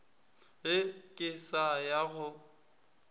ge ke sa ya go